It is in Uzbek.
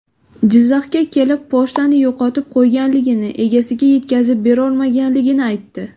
Jizzaxga kelib pochtani yo‘qotib qo‘yganligini, egasiga yetkazib berolmaganligini aytdi.